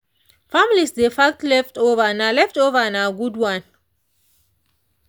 families dey pack leftover nah leftover nah good one.